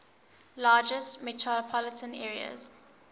largest metropolitan areas